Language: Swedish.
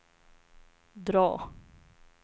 drag